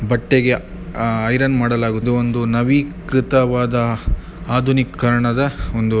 ಬಟ್ಟೆಗೆ ಆ ಐರನ್ ಮಾಡಲಾಗಿದೆ. ಒಂದು ನಾವಿಕೃತವಾದ ಆಧುನೀಕರಣದ ಒಂದು--